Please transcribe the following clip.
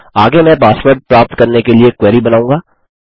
आगे मैं पासवर्ड प्राप्त करने के लिए क्वेरी बनाऊँगा